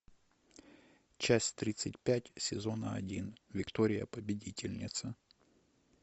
часть тридцать пять сезона один виктория победительница